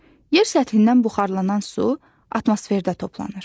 Yer səthindən buxarlanan su atmosferdə toplanır.